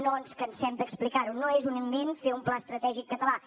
no ens cansem d’explicar ho no és un invent fer un pla estratègic català